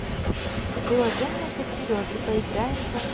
приложение для сережи поиграем в